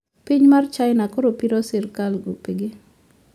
Piny mar china koro piro sirkal gope ge